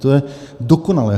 To je dokonalé!